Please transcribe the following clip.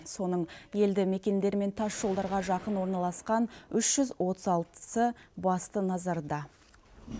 соның елді мекендер мен тас жолдарға жақын орналасқан үш жүз отыз алтысы басты назарда